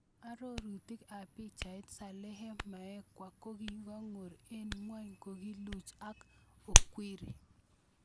Arorutik ab pichait, Salehe Mkalekwa kokingoru eng' ngwony kokakiluch ak Okwiri.